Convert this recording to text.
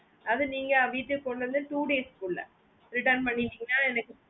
அது நீங்க வீட்டுக்கு கொண்டு வந்து two days குள்ள return பண்ணிட்டிங்கனா எனக்கு